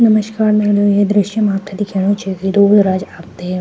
नमस्कार मेरे ये दृश्य मा आपथे दिखेणु च की दोगो राज आपथे --